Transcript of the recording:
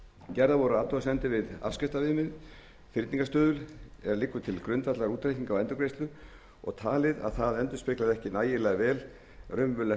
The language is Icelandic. gerðar voru athugasemdir við afskriftaviðmið fyrningarstuðul er liggur til grundvallar útreikningi á endurgreiðslu og talið að það endurspeglaði ekki nægilega vel raunverulegt